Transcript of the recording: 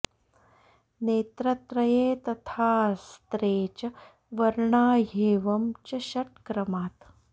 नेत्रत्रये तथाऽस्त्रे च वर्णा ह्येवं च षट क्रमात्